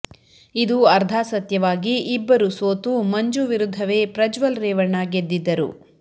ಇದು ಅರ್ಧ ಸತ್ಯವಾಗಿ ಇಬ್ಬರು ಸೋತು ಮಂಜು ವಿರುದ್ಧವೇ ಪ್ರಜ್ವಲ್ ರೇವಣ್ಣ ಗೆದ್ದಿದ್ದರು